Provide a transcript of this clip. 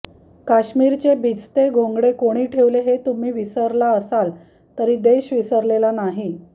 काश्मीरचे भिजते घोंगडे कोणी ठेवले हे तुम्ही विसरला असाल तरी देश विसरलेला नाही